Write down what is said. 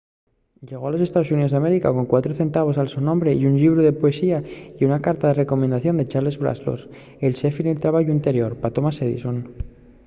llegó a los estaos xuníos d’américa con 4 centavos al so nome un llibru de poesía y una carta de recomendación de charles batchelor el xefe nel trabayu anterior pa thomas edison